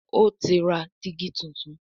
O tí ra digi títún.